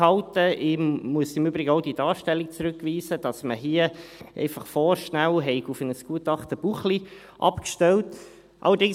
Ich muss im Übrigen auch die Darstellung zurückweisen, dass man hier vorschnell einfach auf das Gutachten Buchli abgestellt hätte.